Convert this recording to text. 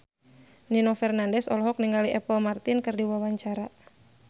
Nino Fernandez olohok ningali Apple Martin keur diwawancara